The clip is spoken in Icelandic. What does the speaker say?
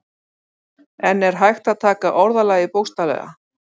En er hægt að taka orðalagið bókstaflega?